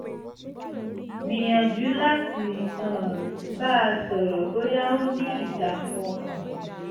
gbìyànjú láti um bá a sọ̀rọ̀ bóyá ó ní ìdààmú ọkàn